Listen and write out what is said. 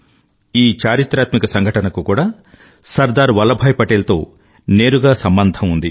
ఈ చారిత్రాత్మక సంఘటనకు కూడా సర్దార్ వల్లభ్ భాయ్ పటేల్ తో నేరుగా సంబంధం ఉంది